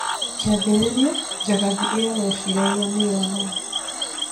Kiambĩrĩria, Njagathi iyo yeciragia nĩyo nene